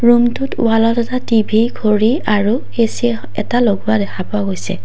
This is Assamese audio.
ৰুমটোত ৱালত এটা টি_ভি ঘড়ী আৰু এ_চি এখ এটা লগোৱা দেখা পোৱা গৈছে।